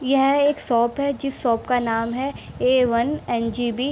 यह एक शॉप है जिस शॉप का नाम है A one N G B.